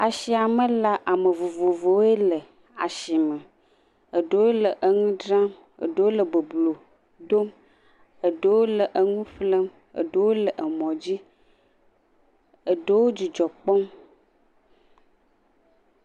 Asia me la ame vovovowo le asime. Eɖewo le nu dzram, ɖewo le boblo dom, eɖewo le nu ƒlem, ɖewo le mɔ dzi, eɖewo dzidzɔ kpɔm.